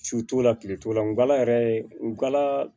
Su t'o la kile t'o la ngala yɛrɛ nkala